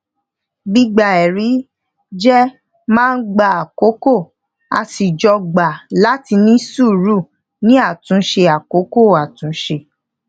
gbígba ẹrí jẹ máa ń gba àkókò a sì jọ gbà láti ní sùúrù ní àtúnṣe àkókò àtúnṣe